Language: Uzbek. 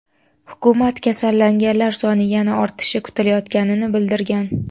Hukumat kasallanganlar soni yana ortishi kutilayotganini bildirgan .